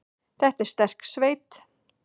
Þetta er sterk sveit.